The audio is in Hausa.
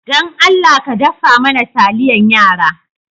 Dan Allah ka daffa mana taliyan yara?